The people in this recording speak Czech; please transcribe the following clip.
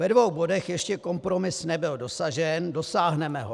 Ve dvou bodech ještě kompromis nebyl dosažen, dosáhneme ho.